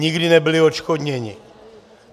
Nikdy nebyli odškodněni!